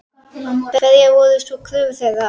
Hverjar voru svo kröfur þeirra?